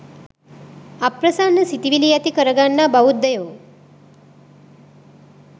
අප්‍රසන්න සිතිවිලි ඇති කරගන්නා බෞද්ධයෝ